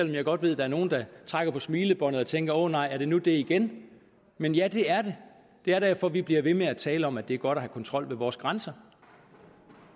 jeg godt ved at der er nogle der trækker på smilebåndet og tænker at åh nej er det nu det igen men ja det er det det er derfor vi bliver ved med at tale om at det er godt at have kontrol ved vores grænser